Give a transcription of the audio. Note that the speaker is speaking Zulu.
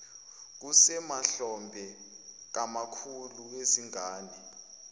kusemahlombe kamkhulu wezingane